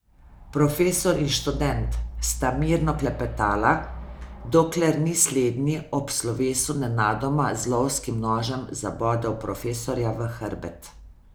Profesor in študent sta mirno klepetala, dokler ni slednji ob slovesu nenadoma z lovskim nožem zabodel profesorja v hrbet.